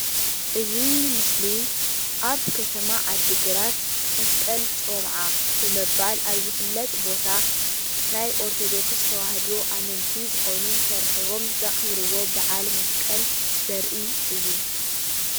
እዚ ምስሊ ኣብ ከተማ ዓዲግራት መስቀል ጨብዓ ብምባል ኣብ ዝፍለጥ ቦታ ናይ ኦርቶዶክስ ተዋህዶ ኣመንቲ ዝኮኑ ተረኪቦም ዘክብርዎ በዓል መስቀል ዘርኢ እዩ፡፡